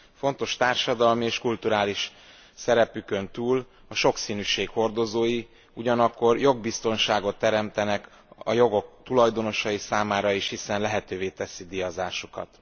Fontos társadalmi és kulturális szerepükön túl a sokszínűség hordozói, ugyanakkor jogbiztonságot teremtenek a jogok tulajdonosai számára is, hiszen lehetővé teszi díjazásukat.